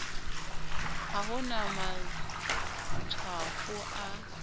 ha ho na matshwafo a